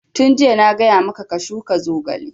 Tun jiya na gaya maka ka shuka zogale!